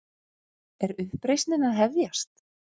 Er uppreisnin að hefjast?